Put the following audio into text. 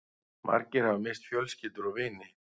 Margir hafa misst fjölskyldur og vini